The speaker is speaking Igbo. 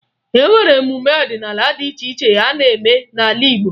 E nwere emume ọdịnaala dị iche iche a na-eme n'ala Igbo